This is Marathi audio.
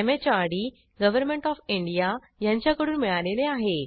एमएचआरडी गव्हर्नमेंट ओएफ इंडिया यांच्याकडून मिळालेले आहे